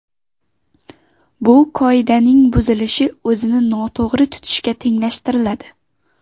Bu qoidaning buzilishi o‘zini noto‘g‘ri tutishga tenglashtiriladi.